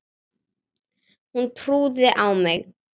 Hún trúði á mig.